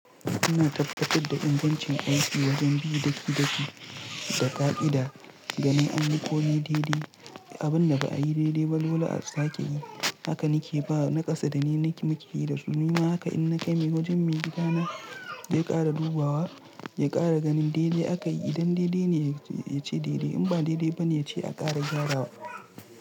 Ina tabbatar da ingancin aiki wajen bi daki-daki da ƙa'ida ganin an yi komi daidai abun da ba a yi daidai walwala a sake yi. Haka nake ba naƙasa da ni muke yi da su. Nima haka in na kai wajen mai gida na zai ƙara dubawa ya ƙara ganin daidai aka yi. Idan daidai ne, ya ce daidai. In ba daidai ba ne, ya ce a ƙara gyarawa.